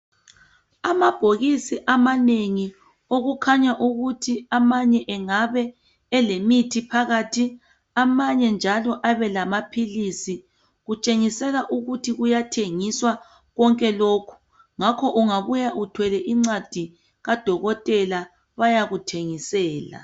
Amabhokisi amanengi okukhanya ukuthi amanye engabe elemithi phakathi amanye njalo abelamaphilisi kutshengisela ukuthi kuyathengisa kwonke lokhu ngakho ungabuya uthwele incwadi kadokotela bayakuthengisela.